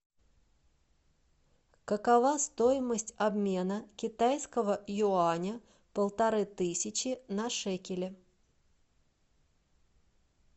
какова стоимость обмена китайского юаня полторы тысячи на шекели